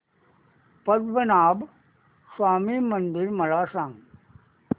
पद्मनाभ स्वामी मंदिर मला सांग